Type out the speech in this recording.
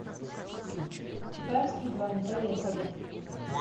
чапаевские бани поехали